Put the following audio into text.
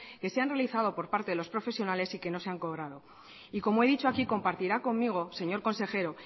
que se han realizado por parte de los profesionales y que no se han cobrado y como he dicho aquí compartirá conmigo señor consejero